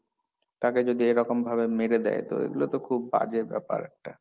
তাকে যদি এরকম ভাবে মেরে দেয় তো এগুলো তো খুব বাজে ব্যাপার একটা।